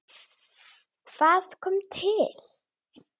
Hvað kom til?